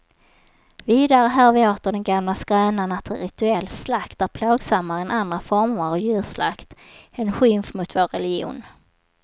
Vidare hör vi åter den gamla skrönan att rituell slakt är plågsammare än andra former av djurslakt, en skymf mot vår religion.